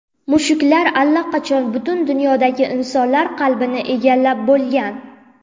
Mushuklar allaqachon butun dunyodagi insonlar qalbini egallab bo‘lgan.